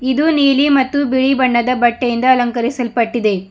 ಇದು ನೀಲಿ ಮತ್ತು ಬಿಳಿ ಬಣ್ಣದ ಬಟ್ಟೆಯಿಂದ ಅಲಂಕಾರಿಸಲ್ಪಟ್ಟಿದೆ.